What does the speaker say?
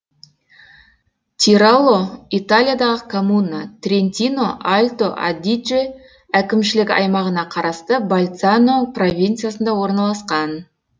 тирало италиядағы коммуна трентино альто адидже әкімшілік аймағына қарасты больцано провинциясында орналасқан